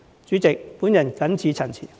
主席，我謹此陳辭。